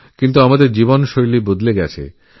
কিন্তু এখন আমাদের জীবনযাত্রার অনেক পরিবর্তনঘটেছে